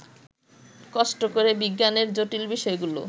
কষ্ট করে বিজ্ঞানের জটিল বিষয়গুলো